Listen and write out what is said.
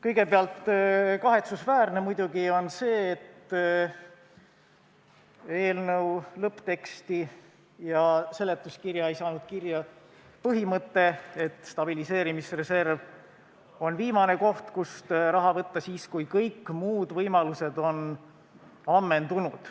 Kõigepealt, kahetsusväärne on muidugi see, et eelnõu lõppteksti ja seletuskirja ei saanud kirja põhimõte, et stabiliseerimisreserv on viimane koht, kust raha võtta – siis, kui kõik muud võimalused on ammendunud.